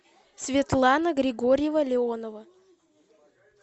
светлана григорьева леонова